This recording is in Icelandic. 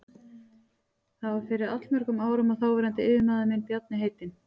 Það var fyrir allmörgum árum að þáverandi yfirmaður minn, Bjarni heitinn